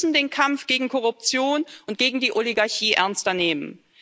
Wir müssen den Kampf gegen Korruption und gegen die Oligarchie ernster nehmen.